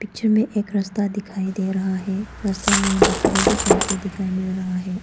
जिनमें एक रस्ता दिखाई दे रहा है रस्ता में बकरी भी चल के दिखाएं मिल रहा है।